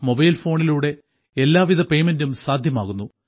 mobile ഫോണിലൂടെ എല്ലാവിധ പേയ്മെന്റും സാധ്യമാകുന്നു